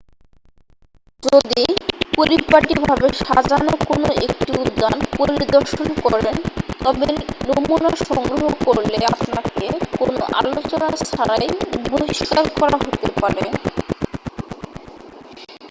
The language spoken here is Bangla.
"যদি পরিপাটি ভাবে সাজানো কোন একটি উদ্যান পরিদর্শন করেন তবে "নমুনা" সংগ্রহ করলে আপনাকে কোনও আলোচনা ছাড়াই বহিষ্কার করা হতে পারে।